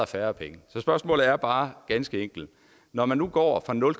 færre penge så spørgsmålet er bare ganske enkelt når man nu går fra nul